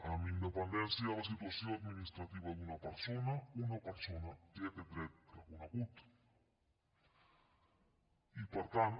amb independència de la situació administrativa d’una persona una persona té aquest dret reconegut i per tant